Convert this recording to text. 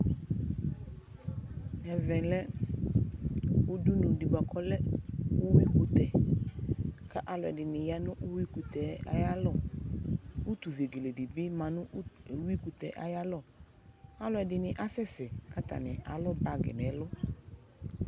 Ɛvɛ lɛ udunu di ku ɔlɛ uyui kutɛ aluɛdini ya nu uyui kutɛ ayalɔ utu vi dibi ma nu uyui kutɛ ayalɔ aluɛdini kasɛsɛ katani alu bagi nu ɛlu